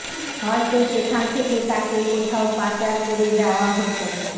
হয়তো সেখান থেকে তাকে কোথাও পাচার করে দেওয়া হত